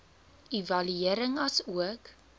evaluering asook